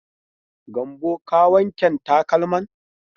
Gambo ka wanken takalman?